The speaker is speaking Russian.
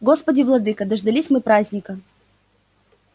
господи владыко дождались мы праздника